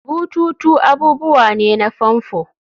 bututu abubuwa ne na famfo